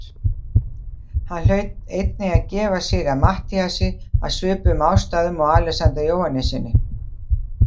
Hann hlaut einnig að gefa sig að Matthíasi af svipuðum ástæðum og Alexander Jóhannessyni.